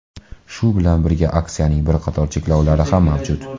Shu bilan birga, aksiyaning bir qator cheklovlari ham mavjud.